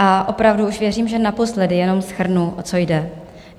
A opravdu už věřím, že naposledy, jenom shrnu, o co jde.